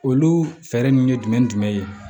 Olu fɛɛrɛ ninnu ye jumɛn jumɛn ye